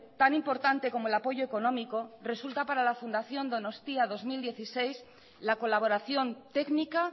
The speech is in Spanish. tan importante como el apoyo económico resulta para la fundación donostia dos mil dieciséis la colaboración técnica